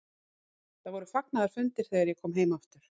Það voru fagnaðarfundir þegar ég kom heim aftur.